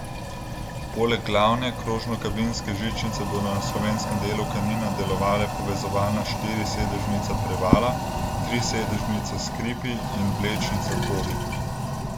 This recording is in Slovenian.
Poleg glavne krožnokabinske žičnice bodo na slovenskem delu Kanina delovale povezovalna štirisedežnica Prevala, trisedežnica Skripi in vlečnica Podi.